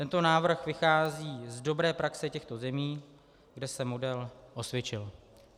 Tento návrh vychází z dobré praxe těchto zemí, kde se model osvědčil.